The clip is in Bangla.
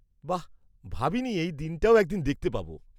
-বাহ্! ভাবিনি এই দিনটাও একদিন দেখতে পাবো।